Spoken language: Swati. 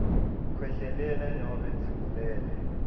khwehlelela nobe tsimulela